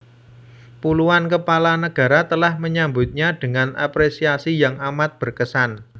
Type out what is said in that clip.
Puluhan kepala negara telah menyambutnya dengan apresiasi yang amat berkesan